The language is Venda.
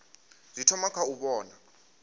zwi thoma kha u vhona